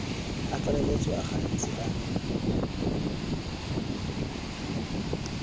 a tlaleletso a gantsi a